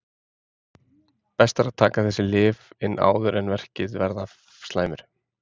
best er að taka þessi lyf inn áður en verkir verða slæmir